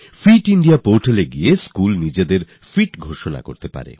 fit India portal এ গিয়ে school নিজেকে ফিট করতে পারবে